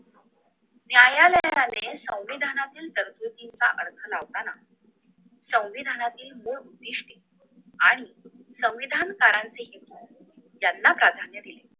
न्यायालयाने संविधानातील तरतुदीचा अर्थ लावताना संविधानातील दोन उद्दिष्टे आणि संविधान कारणाचे हो त्यांना प्राधान्य